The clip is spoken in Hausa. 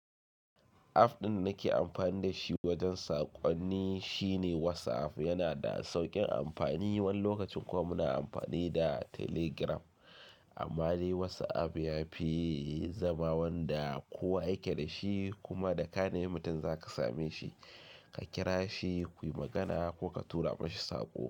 App ɗin nake amfani da shi wajen saƙonni shine WhatsApp. Yana da sauƙin amfani, wani lokacin kuwa muna amfani da Telegram. Amma dai WhatsApp ya fi zama wanda kowa yake da shi kuma da kane mi mutum zaka same shi, ka kira shi, kuyi magana ko ka tura mashi saƙo.